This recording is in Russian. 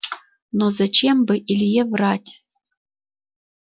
но зачем бы илье врать